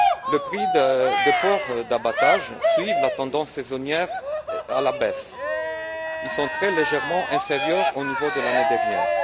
Le prix du porc d'abattage suit la tendance saisonnière à la baisse. Il est très légèrement inférieur au niveau de l'année dernière.